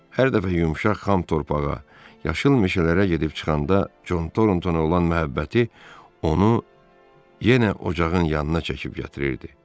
Hər dəfə yumşaq xam torpağa, yaşıl meşələrə gedib çıxanda Con Torntona olan məhəbbəti onu yenə ocağın yanına çəkib gətirirdi.